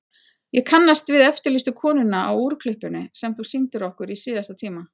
Ég kannast við eftirlýstu konuna á úrklippunni sem þú sýndir okkur í síðasta tíma.